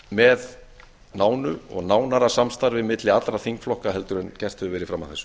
með nánu og nánara samstarfi milli allra þingflokka heldur en gert hefur verið fram að þessu